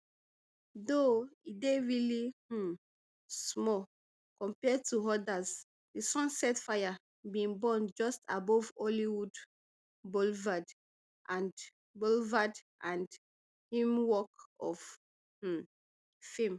though e dey really um small compare to odas di sunset fire bin burn just above hollywood boulevard and boulevard and im walk of um fame